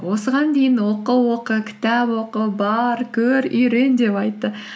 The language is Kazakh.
осыған дейін оқы оқы кітап оқы бар көр үйрең деп айтты